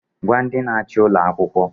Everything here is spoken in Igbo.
Gwa ndị na-achị ụlọ akwụkwọ!